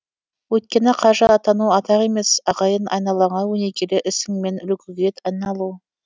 өйткені қажы атану атақ емес ағайын айналаңа өнегелі ісіңмен үлгіге айналу